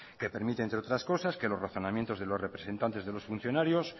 que permite entre otras cosas que los razonamientos de los representantes de los funcionarios